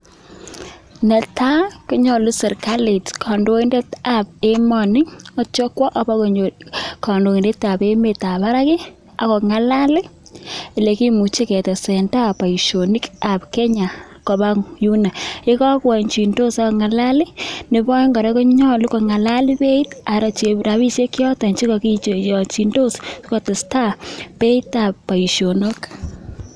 Netai konyalu sirkalit kandoindet tab emet akwo akobokonyor kandoindet tab barak ih ako ng'alal olekimuche ketesentai boisionik kab Kenya koba yuuno yekakoanchindos Ako ng'alal ih bek rabisiek choton che kakiyonchin sikotestai beitab boisionik